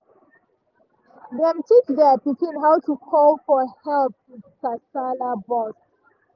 dem teach their pikin how to call for help if kasala burst.